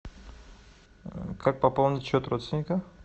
как пополнить счет родственника